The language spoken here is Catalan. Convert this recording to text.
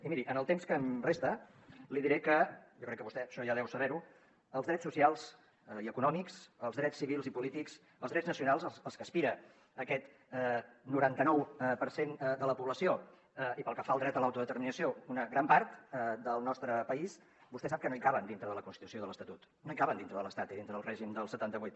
i miri en el temps que em resta li diré que jo crec que vostè això ja deu saber ho els drets socials i econòmics els drets civils i polítics els drets nacionals als que aspira aquest noranta nou per cent de la població i pel que fa al dret a l’autodeterminació una gran part del nostre país vostè sap que no hi caben dintre de la constitució i de l’estatut no hi caben dintre de l’estat i dintre del règim del setanta vuit